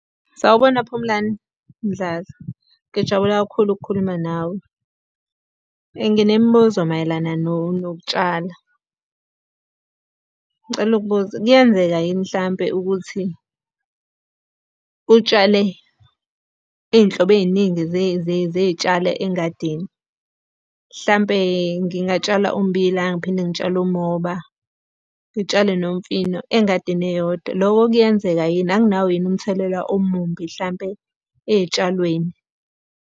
Sawubona Phumlani Mdladla, ngijabula kakhulu ukukhuluma nawe. Nginembuzo mayelana nokutshala. Ngicela ukubuza, kuyenzeka yini mhlampe ukuthi utshale iy'nhlobo ey'ningi zey'tshalo engadini? Hlampe ngingatshala ummbila, ngiphinde ngitshale ummoba, ngitshale nomfino engadini eyodwa. Loko kuyenzeka yini, akunawo yini umthelela omumbi hlampe ey'tshalweni.